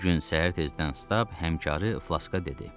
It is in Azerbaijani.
Bir gün səhər tezdən Stab həmkarı Flaska dedi: